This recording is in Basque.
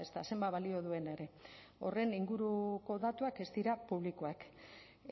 ezta zenbat balio duen ere horren inguruko datuak ez dira publikoak